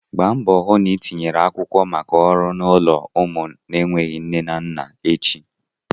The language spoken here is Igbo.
Gba mbọ hụ na ị tinyere akwụkwọ maka ọrụ n'ụlọ ụmụ na-enweghịzị nne na nna echi!